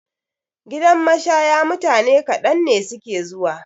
Gidan mashaya mutane kaɗan ne suke zuwa.